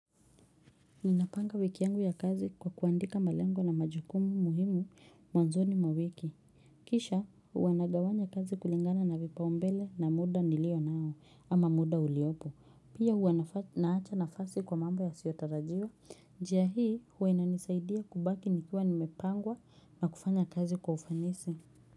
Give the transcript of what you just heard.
Ninapanga wiki yangu ya kazi kwa kuandika malengo na majukumu muhimu mwanzoni mwa wiki. Kisha huwa nagawanya kazi kulingana na vipaombele na muda nilio nao ama muda uliopo. Pia hua naacha nafasi kwa mambo ya siotarajiwa. Jia hii huwa inanisaidia kubaki nikiwa nimepangwa na kufanya kazi kwa ufanisi.